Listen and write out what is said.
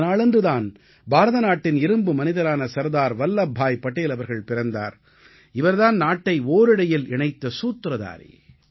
இந்த நாளன்று தான் பாரத நாட்டின் இரும்பு மனிதரான சர்தார் வல்லப்பாய் படேல் அவர்கள் பிறந்தார் இவர் தான் நாட்டை ஓரிழையில் இணைத்த சூத்திரதாரி